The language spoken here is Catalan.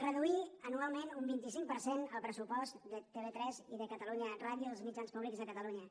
reduir anualment un vint cinc per cent el pressupost de tv3 i de catalunya ràdio dels mitjans públics de catalunya